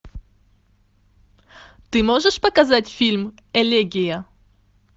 ты можешь показать фильм элегия